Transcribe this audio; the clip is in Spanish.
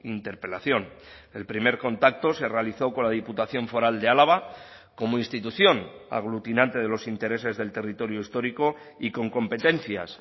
interpelación el primer contacto se realizó con la diputación foral de álava como institución aglutinante de los intereses del territorio histórico y con competencias